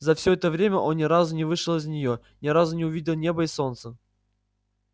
за все это время он ни разу не вышел из неё ни разу не увидел неба и солнца